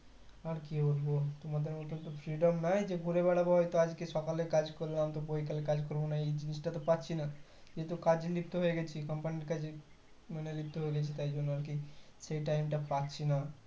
আর কি বলবো তোমাদের মতো তো আর freedom নাই যে ঘুরে বেড়াবো হয়তো আজকে সকালে কাজ করলাম তো বিকালে কাজ করবোনা এই জিনিসটা পাচ্ছে না যেহুতু কাজে লিপ্ত হয়ে গেছি company কাজে মানে লিপ্ত হয়ে গেছি তার জন্য আরকি সেই time টা পাচ্ছিনা